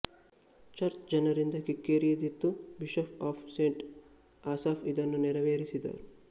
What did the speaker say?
church ಜನರಿಂದ ಕಿಕ್ಕಿರಿದಿತ್ತು bishop of saint Asaph ಇದನ್ನು ನೆರವೇರಿಸಿದರು